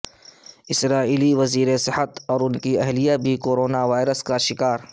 اسرائیلی وزیر صحت اور ان کی اہلیہ بھی کورونا وائرس کا شکار